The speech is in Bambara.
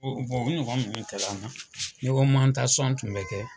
O bono ɲɔgɔn minnu kɛ l'an na, tun bɛ kɛ.